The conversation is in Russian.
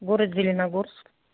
город зеленогорск